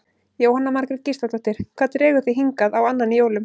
Jóhanna Margrét Gísladóttir: Hvað dregur þig hingað á annan í jólum?